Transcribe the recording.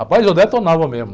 Rapaz, eu detonava mesmo.